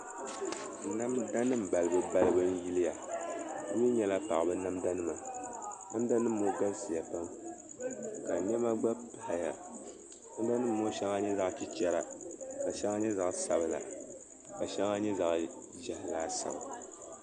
Namda nim balibu balibu n yiliya di mii nyɛla paɣaba namda nima namda nim ŋɔ galisiya pam ka niɛma gba paya namda nim ŋɔ shɛŋa nyɛ zaɣ chɛchɛra ka shɛŋa nyɛ zaɣ sabila ka shɛŋa nyɛ zaɣ ʒiɛhi laasabu